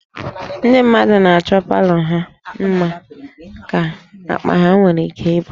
Ndị mmadụ na-achọ palọ ha mma ka akpa ha nwere ike ibu